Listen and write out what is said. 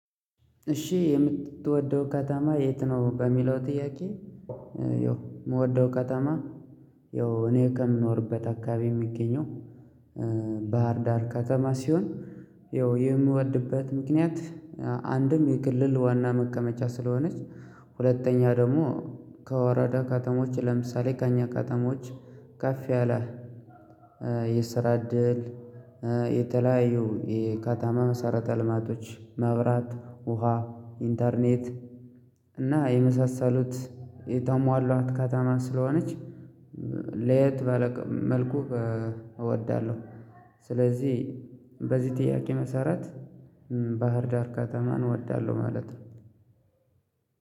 እሺ የምትወደው ከተማ የት ነው በሚለው ጥያቄ የው። የምወደው ከተማ። ያው እኔ ከምኖርበት አካባቢ የሚገኘው። ባህር ዳር ከተማ ሲሆን ያው የምወድበት ምክንያት። አንድም የክልል ዋና መቀመጫ ስለሆነች ሁለተኛ ደግሞ ከወረዳ ካተሞች ለምሳሌ ከእኛ ካተሞች ካፌ አላህ። ይሰራድል። የተለያዩ የካታማ መሰረተ ልማቶች መብራት ውሃ ኢንተርኔት። እና የመሳሰሉት የተሟሏት ከተማ ስለሆነች መልኩ እወዳለሁ። ስለዚህ በዚህ ጥያቄ መሰረት ባህር ዳር ከተማን እወዳለሁ ማለት ነው።